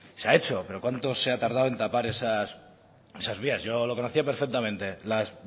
se ha hecho pero cuánto se ha tardado en tapar esas vías yo lo conocía perfectamente las